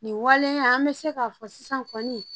Nin waleya an bɛ se k'a fɔ sisan kɔni